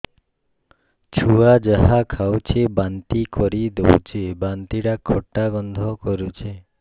ଛୁଆ ଯାହା ଖାଉଛି ବାନ୍ତି କରିଦଉଛି ବାନ୍ତି ଟା ଖଟା ଗନ୍ଧ କରୁଛି